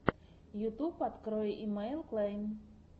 ютьюб открой имэйл клэн